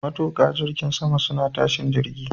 Matuƙan jirgin sama suna tashin jirgin.